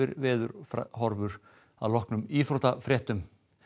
veðurhorfur að loknum íþróttafréttum